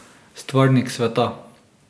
Stvarnik sveta.